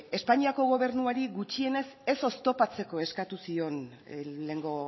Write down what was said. espainiako gobernuari gutxienez ez oztopatzeko eskatu zion lehengo